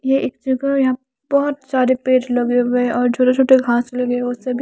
ये एक जगह है यहा पे बोहोत सारे पेड़ लगे हुए है और छोटे छोटे घास लगे हुए है उसे भी --